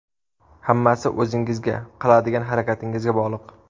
Hammasi o‘zingizga, qiladigan harakatingizga bog‘liq.